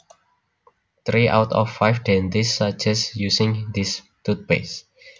Three out of five dentists suggest using this toothpaste